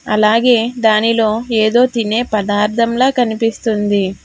అలాగే దానిలో ఎదో తినే పదార్థమ్లా కనిపిస్తుంది.